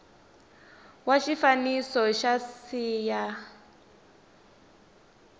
wa xifaniso xa c ya